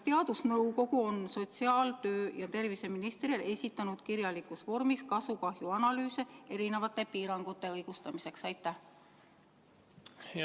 Ja kas teadusnõukoda on sotsiaalministrile ning töö- ja terviseministrile esitanud kirjalikus vormis kasu ja kahju analüüse erisuguste piirangute õigustamiseks?